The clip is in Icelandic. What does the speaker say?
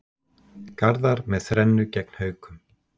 Garðar með þrennu gegn Haukum